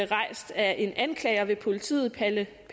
rejst af en anklager ved politiet palle